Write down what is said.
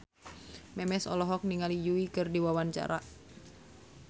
Memes olohok ningali Yui keur diwawancara